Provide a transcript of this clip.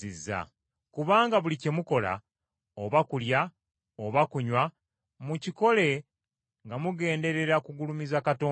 Kubanga buli kye mukola, oba kulya oba kunywa, mukikole nga mugenderera kugulumiza Katonda.